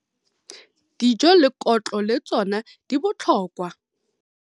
Dijo le kotlo le tsona di botlhokwa